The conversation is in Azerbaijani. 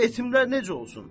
Yetimlər necə olsun?